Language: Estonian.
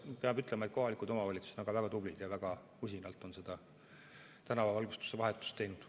Peab ütlema, et kohalikud omavalitsused on siin väga tublid ja on väga usinalt tänavavalgustuse vahetust teinud.